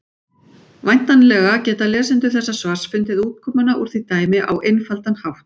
Væntanlega geta lesendur þessa svars fundið útkomuna úr því dæmi á einfaldan hátt!